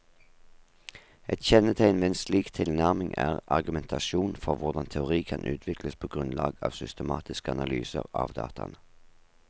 Et kjennetegn ved en slik tilnærming er argumentasjonen for hvordan teori kan utvikles på grunnlag av systematiske analyser av dataene.